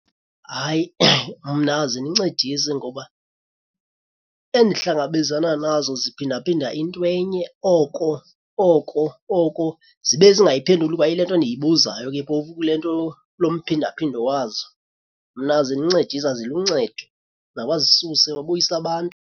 Hayi, mna azindincedisi ngoba endihlangabezana nazo ziphindaphinda into enye oko oko oko, zibe zingayiphenduli kwayi le nto ndiyibuzayo ke phofu kule nto, lo mphindaphindo wazo. Mna azindincedisi, aziluncedo. Mabazisuse babuyise abantu.